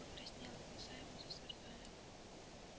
лепольд покраснел и глаза его засверкали